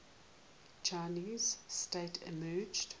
chinese state emerged